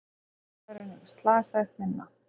Karlmaðurinn slasaðist minna